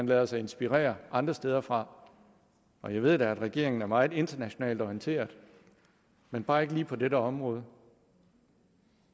lade sig inspirere andre steder fra og jeg ved da at regeringen er meget internationalt orienteret men bare ikke lige på dette område og